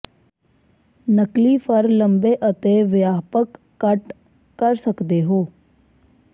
ਨਕਲੀ ਫਰ ਲੰਬੇ ਅਤੇ ਵਿਆਪਕ ਕੱਟ ਕਰ ਸਕਦੇ ਹੋ